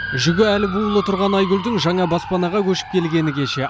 жүгі әлі буулы тұрған айгүлдің жаңа баспанаға көшіп келгені кеше